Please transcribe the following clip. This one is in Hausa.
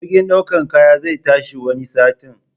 Jirgin ɗaukan kayan zai tashi wani satin.